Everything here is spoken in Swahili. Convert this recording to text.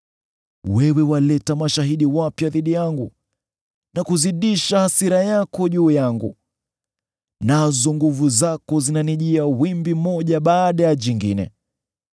Wewe waleta mashahidi wapya dhidi yangu na kuzidisha hasira yako juu yangu; nazo nguvu zako zinanijia wimbi moja baada ya jingine.